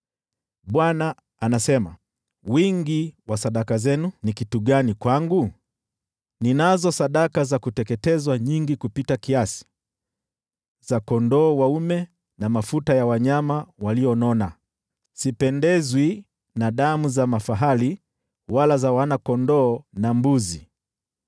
Bwana anasema, “Wingi wa sadaka zenu, ni kitu gani kwangu? Ninazo sadaka za kuteketezwa nyingi kupita kiasi, za kondoo dume na mafuta ya wanyama walionona. Sipendezwi na damu za mafahali wala za wana-kondoo na mbuzi.